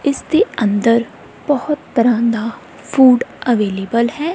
ਇਸ ਦੇ ਅੰਦਰ ਬਹੁਤ ਤਰ੍ਹਾਂ ਦਾ ਫੂਡ ਅਵੈਲੇਬਲ ਹੈ।